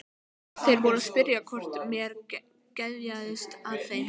Þeir voru að spyrja hvort mér geðjaðist að þeim.